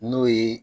N'o ye